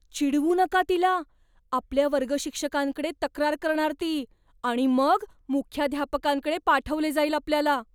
चिडवू नका तिला. आपल्या वर्गशिक्षकांकडे तक्रार करणार ती आणि मग मुख्याध्यापकांकडे पाठवले जाईल आपल्याला.